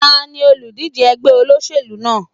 Tani olùdíje ẹgbẹ́ olóṣèlú náà?